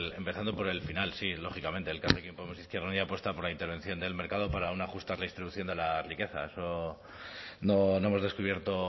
empezando por el final sí lógicamente elkarrekin podemos izquierda unida apuesta por la intervención del mercado para una justa redistribución de la riqueza eso no hemos descubierto